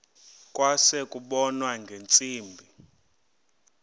kwase kubonwa ngeentsimbi